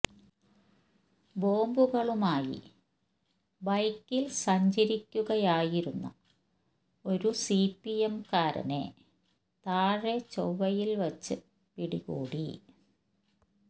ബോംബുകളുമായി ബൈക്കിൽ സഞ്ചരിക്കുകയായിരുന്ന ഒരു സിപിഎമ്മുകാരനെ താഴെ ചൊവ്വയിൽ വച്ച് പിടികൂടി